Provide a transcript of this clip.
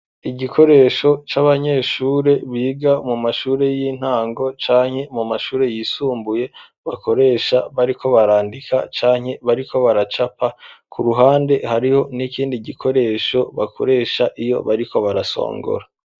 Igikoresho c'abanyeshure biga mu mashuri y'intango canke mu mashuri yisumbuye bakoresha bariko barandika canke bariko baracapa ku ruhande hariho n'ikindi gikoresho bakoresha iyo bariko barasongora.